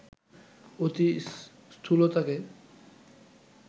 অতি স্থূলতাকে